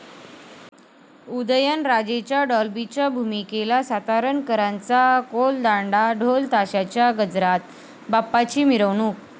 उदयनराजेंच्या डाॅल्बीच्या भूमिकेला सातारकरांचा कोलदांडा, ढोलताशाच्या गजरात बाप्पांची मिरवणूक